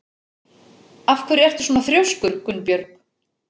Af hverju ertu svona þrjóskur, Gunnbjörg?